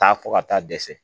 Taa fɔ ka taa dɛsɛ